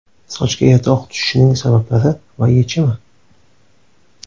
Sochga erta oq tushishining sabablari va yechimi.